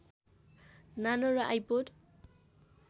नानो र आइपोड